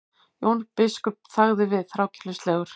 Jón biskup þagði við, þrákelknislegur.